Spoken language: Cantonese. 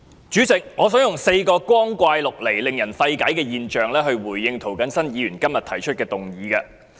主席，我想以4個光怪陸離及令人費解的現象來回應涂謹申議員今天提出的議案。